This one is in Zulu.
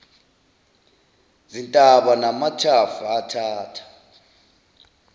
zintaba namathafa athatha